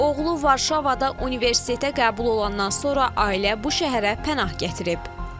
Oğlu Varşavada universitetə qəbul olandan sonra ailə bu şəhərə pənah gətirib.